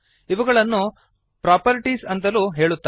ಇವುಗಳನ್ನು ಪ್ರಾಪರ್ಟೀಸ್ ಅಂತಲೂ ಹೇಳುತ್ತಾರೆ